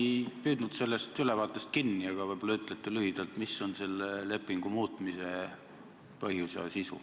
Ma ei püüdnud sellest ülevaatest seda kinni, seetõttu võib-olla ütlete lühidalt, mis on selle lepingu muutmise põhjus ja sisu.